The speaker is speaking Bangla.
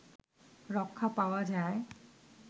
রক্ষা পাওয়া যায়